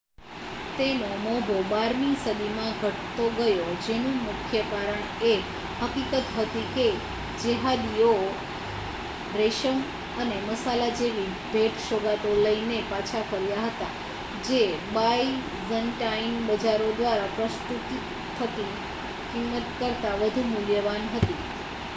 તેનો મોભો બારમી સદીમાં ઘટતો ગયો જેનું મુખ્ય કારણ એ હકીકત હતી કે જેહાદીઓ રેશમ અને મસાલા જેવી ભેટ-સોગાદો લઈને પાછા ફર્યા હતા જે બાઇઝૅન્ટાઇન બજારો દ્વારા પ્રસ્તુત થતી કિંમત કરતાં વધુ મૂલ્યવાન હતી